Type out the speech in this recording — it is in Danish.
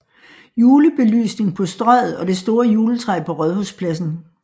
Julebelysning på Strøget og det store juletræ på Rådhuspladsen